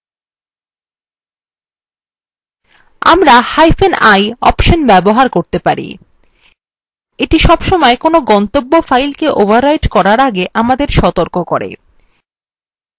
আমরাi interactive option ব্যবহার করতে পারি এইটি সবসময় কোনো গন্তব্য file কে overwriting করার আগে আমাদের সতর্ক করে